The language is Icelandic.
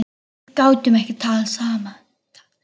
Við gátum ekki talað saman.